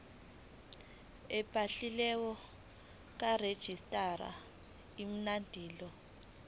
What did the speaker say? ebhaliwe karegistrar imibandela